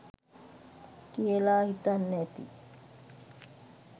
කියලා හිතන්න ඇති